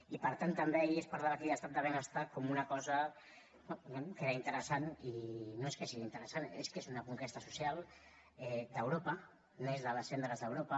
i per tant també ahir es parlava aquí d’estat de benestar com una cosa bé que era interessant i no és que sigui interessant és que és una conquesta social d’europa neix de les cendres d’europa